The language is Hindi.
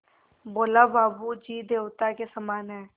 बोला बाबू जी देवता के समान हैं